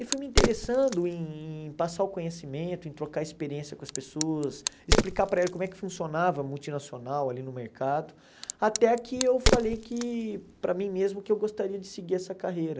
E fui me interessando em passar o conhecimento, em trocar experiência com as pessoas, explicar para elas como é que funcionava multinacional ali no mercado, até que eu falei que para mim mesmo que eu gostaria de seguir essa carreira.